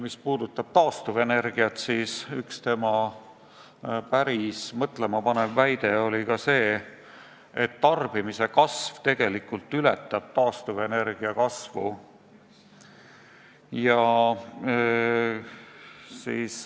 Mis puudutab taastuvenergiat, siis üks päris mõtlemapanev väide oli ka see, et tarbimise kasv tegelikult ületab taastuvenergia kasvu.